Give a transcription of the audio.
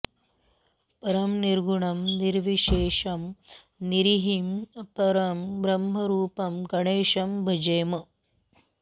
परं निर्गुणं निर्विशेषं निरीहं परं ब्रह्मरूपं गणेशं भजेम